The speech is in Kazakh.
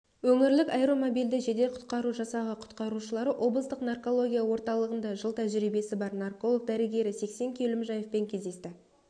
өңірлік аэромобильді жедел-құтқару жасағы құтқарушылары облыстық наркология орталығында жыл тәжірибиесі бар нарколог-дәрігері сексен кеулімжаевпен кездесті